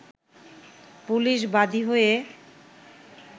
police বাদি হয়ে